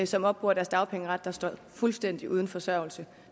som opbruger deres dagpengeret der står fuldstændig uden forsørgelse